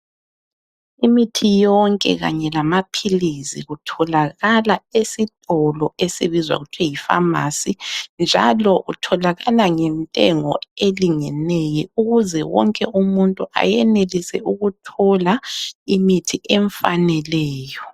Imithi yonke kanye lamaphilisi kutholakala esitolo esibizwa kuthwa yi pharmacy. Njalo kutholakala ngentengo elingeneyo ukuze wonke umuntu ayenelise ukuthola imithi emfaneleyo.